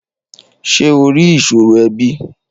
Ṣé o rí ìṣòro ẹbí?